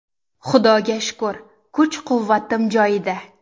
Xudoga shukr, kuch-quvvatim joyida.